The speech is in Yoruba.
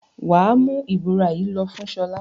Wà á mú ìbora yìí lọ fún Ṣọlá!